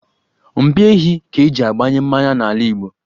Mpi ehi ka-eji agbanye mmanya n'ala Igbo.